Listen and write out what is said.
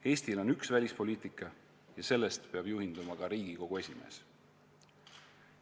Eestil on üks välispoliitika ja sellest peab juhinduma ka Riigikogu esimees.